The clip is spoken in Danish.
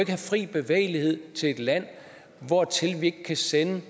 have fri bevægelighed i forhold til et land hvortil vi ikke kan sende